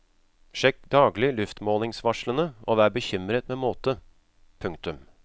Sjekk daglig luftmålingsvarslene og vær bekymret med måte. punktum